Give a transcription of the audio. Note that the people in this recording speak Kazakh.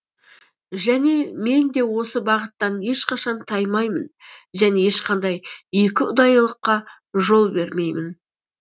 және мен де осы бағыттан ешқашан таймаймын және ешқандай екіұдайылыққа жол бермеймін